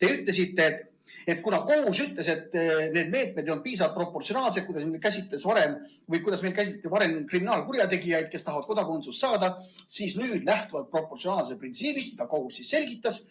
Te ütlesite, et kuna kohus ütles, et need meetmed ei olnud piisavalt proportsionaalsed, kuidas meil varem käsitleti kriminaalkurjategijaid, kes tahavad kodakondsust saada, siis nüüd lähtuvalt proportsionaalsuse printsiibist, mida kohus selgitas,